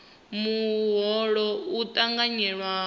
muholo u ṱanganyelwa zwi tshi